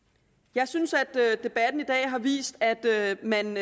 jeg synes at debatten i dag har vist at man